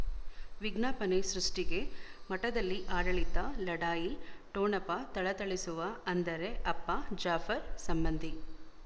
ವಿಜ್ಞಾಪನೆ ಸೃಷ್ಟಿಗೆ ಮಠದಲ್ಲಿ ಆಡಳಿತ ಲಢಾಯಿ ಠೊಣಪ ಥಳಥಳಿಸುವ ಅಂದರೆ ಅಪ್ಪ ಜಾಫರ್ ಸಂಬಂಧಿ